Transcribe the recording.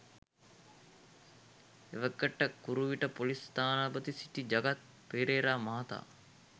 එවකට කුරුවිට ‍පොලිස් ස්ථානාධිපතිව සිටි ජගත් පෙරේරා මහතා